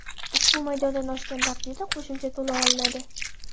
Ushbu maydondan oshgan taqdirda qo‘shimcha to‘lov olinadi.